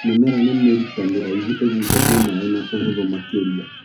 Mĩmera ĩna mĩrita mĩraihũ ĩgucagia maĩ na ũhũthũ makĩria.